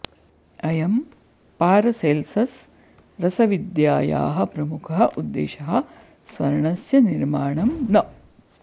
अयं पारसेल्सस् रसविद्यायाः प्रमुखः उद्देशः स्वर्णस्य निर्माणं न